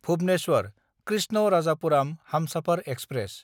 Bhubaneswar Krishnarajapuram Humsafar express